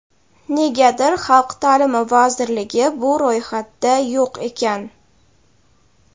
negadir Xalq taʼlimi vazirligi bu ro‘yxatda yo‘q ekan.